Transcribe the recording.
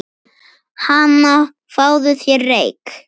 Hana, fáðu þér reyk